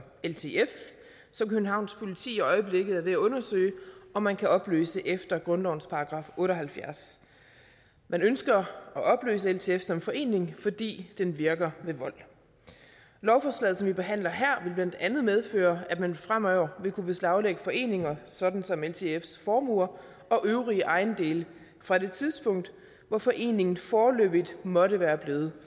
ltf som københavns politi i øjeblikket er ved at undersøge om man kan opløse efter grundlovens § otte og halvfjerds man ønsker at opløse ltf som forening fordi den virker ved vold lovforslaget som vi behandler her vil blandt andet medføre at man fremover vil kunne beslaglægge foreningers sådan som ltfs formuer og øvrige ejendele fra det tidspunkt hvor foreningen foreløbigt måtte være blevet